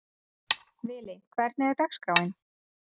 Vili, hvernig er dagskráin?